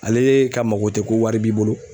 Ale ka mako tɛ ko wari b'i bolo